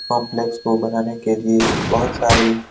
complex को बनाने के लिए बहुत सारी --